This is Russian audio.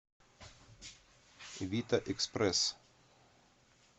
вита экспресс